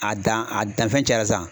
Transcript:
A dan a danifɛn cayara sisan.